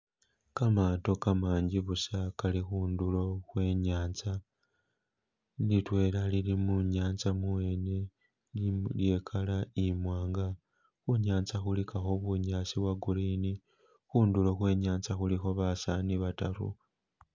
Kamato kamangi busa kali khundulo khwe nyanza, litwela lili munyanza mubwene lye color imwanga, khunyanza khuli kakho bunyasi bwo green khundulo khwe nyanza khuli kho basani bataru.